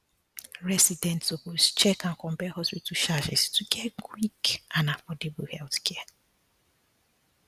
residents suppose check and compare hospital charges to get quick and affordable healthcare